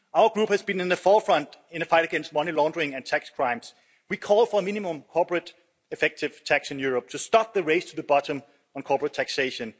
Our group has been in the forefront in the fight against money laundering and tax crimes. We call for a minimum corporate effective tax in Europe to stop the race to the bottom on corporate taxation.